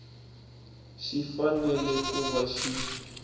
xi fanele ku va xi